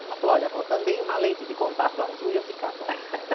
Ela falou, olha, vó, também uma lente de contato azul ia ficar bom.